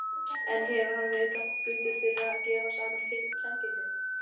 En hefur hann verið gagnrýndur fyrir að gefa saman samkynhneigða?